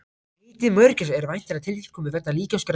Heitið mörgæs er væntanlega tilkomið vegna líkamsgerðar dýranna.